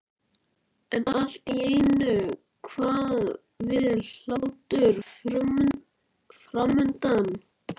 Brynjólfur verður bæði undrandi og hrærður yfir tilhugsuninni.